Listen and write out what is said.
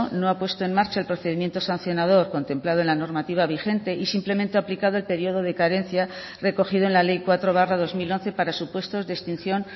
no ha puesto en marcha el procedimiento sancionador contemplado en la normativa vigente y simplemente ha aplicado el periodo de carencia recogido en la ley cuatro barra dos mil once para supuestos de extinción